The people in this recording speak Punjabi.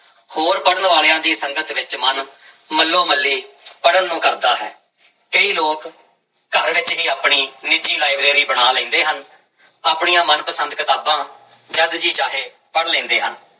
ਹੋਰ ਪੜ੍ਹਨ ਵਾਲਿਆਂ ਦੀ ਸੰਗਤ ਵਿੱਚ ਮਨ ਮੱਲੋ ਮੱਲੀ ਪੜ੍ਹਨ ਨੂੰ ਕਰਦਾ ਹੈ, ਕਈ ਲੋਕ ਘਰ ਵਿੱਚ ਹੀ ਆਪਣੀ ਨਿੱਜੀ ਲਾਇਬ੍ਰੇਰੀ ਬਣਾ ਲੈਂਦੇ ਹਨ, ਆਪਣੀਆਂ ਮਨ ਪਸੰਦ ਕਿਤਾਬਾਂ ਜਦ ਜੀਅ ਚਾਹੇ ਪੜ੍ਹ ਲੈਂਦੇ ਹਨ।